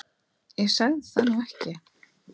Ég sagði það nú ekki